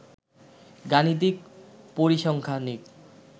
গাণিতিক, পরিসংখ্যানিক